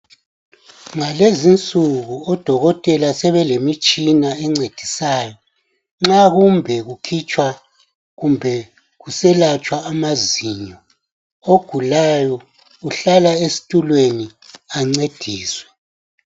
Ngalezi insuku odokotela sebelemitshina ecendisayo nxa kumbe kukhitshwa kumbe kuselatshwa amazinyo ogulayo uhlala esitulweni ancediswe.